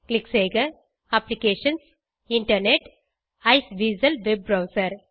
click செய்க applications internet Iceweasel web browser